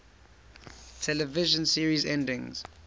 television series endings